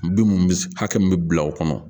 Bin minnu bɛ hakɛ min bɛ bila o kɔnɔ